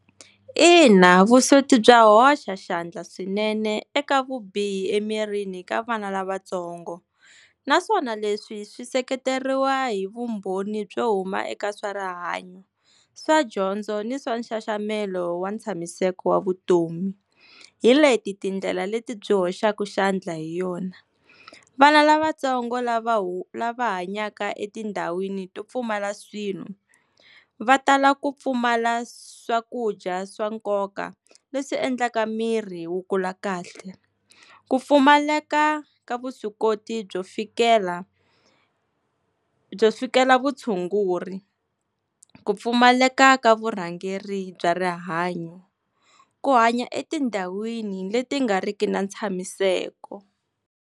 Ina, vusweti bya hoxa xandla swinene eka vubihi emirini ka vana lavatsongo, naswona leswi swi seketeriwa hi vumbhoni byo huma eka swa rihanyo, swa dyondzo ni swa nxaxamelo wa tshamiseko wa vutomi. Hi leti tindlela leti byi hoxaka xandla hi yona, vana lavatsongo lava hu lava hanyaka etindhawini to pfumala swilo, va tala ku pfumala swakudya swa nkoka leswi endlaka miri wu kula kahle, ku pfumaleka ka vuswikoti byo fikela, byo fikela vutshunguri, ku pfumaleka ka vurhangeri bya rihanyo, ku hanya etindhawini leti nga riki na tshamiseka.